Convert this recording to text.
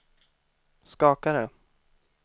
skakade